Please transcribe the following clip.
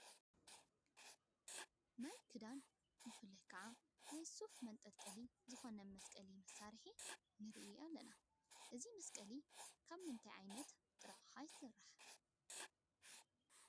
ናይ ክዳን ብፍላይ ከዓ ናይ ሱፍ መንጠልጠሊ ዝኾነ መስቀሊ መሳርሒ ንሪኢ ኣለና፡፡ እዚ መስቀሊ ካብ ምንታይ ዓይነት ጥረ ኣቕሓ ይስራሕ?